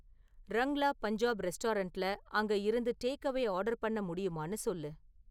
ரங்லா பஞ்சாப் ரெஸ்டாரன்ட்ல அங்க இருந்து டேக்அவே ஆர்டர் பண்ண முடியுமான்னு சொல்லு